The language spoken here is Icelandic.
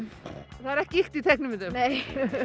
það er ekki ýkt í teiknimyndum nei